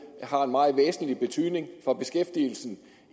har en meget væsentlig betydning for beskæftigelsen